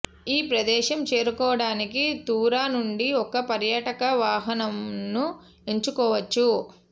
ఈ ప్రదేశం చేరుకోవడానికి తురా నుండి ఒక పర్యాటక వాహనంను ఎంచుకోవచ్చు